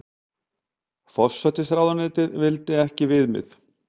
Forsætisráðuneytið vildi ekki viðmið